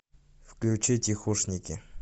включи тихушники